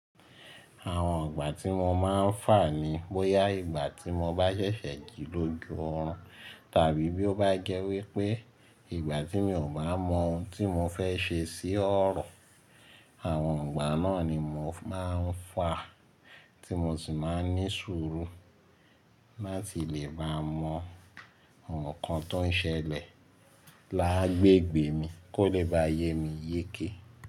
Àwọn ìgbà tí mo máa ń fà ni bóyá ìgbà tí mo bá ṣẹ̀ṣẹ̀ jí lójú oorun tàbí bí ó bá jẹ́ wípé ìgbà tí mi ò bá mọ ohun tí mo fẹ́ ṣe sí ọ̀rọ̀. Àwọn ìgbà náà ni mo máa ń fà, tí mo sì máa ń ní ṣòro láti lè bá mọ àwọn kan tó ń ṣẹlẹ̀ lágbègbè mi kó lè bá yé mi yéké.